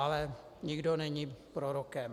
Ale nikdo není prorokem.